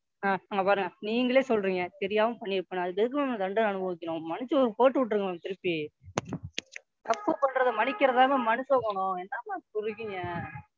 Ma'am இங்க பாருங்க நீங்களே சொல்றீங்க தெரியாம பன்னிருப்பன்னு அதுக்கு எதுக்கு Ma'am நான் தண்டனையை அனுபவிக்கனும். மன்னிச்சு போட்டு விட்டுடுங்க Ma'am திருப்பி தப்பு பண்றது மன்னிக்கிறது தான் Ma'am மனுஷன் குணம். என்ன Ma'am இப்படி இருக்கீங்க?